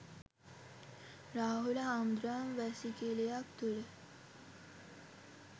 රාහුල හාමුදුරුවන් වැසිකිලියක් තුල